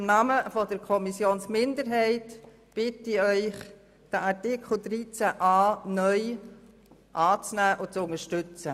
Im Namen der Kommissionsminderheit bitte ich Sie, Artikel 13a(neu) anzunehmen und zu unterstützen.